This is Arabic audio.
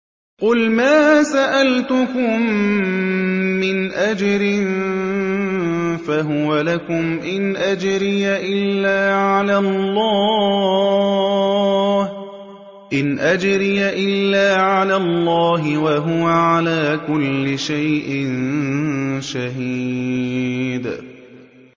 قُلْ مَا سَأَلْتُكُم مِّنْ أَجْرٍ فَهُوَ لَكُمْ ۖ إِنْ أَجْرِيَ إِلَّا عَلَى اللَّهِ ۖ وَهُوَ عَلَىٰ كُلِّ شَيْءٍ شَهِيدٌ